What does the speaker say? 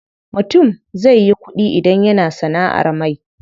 Mutum zai yi ƙuɗi idan yana sanaʼar mai.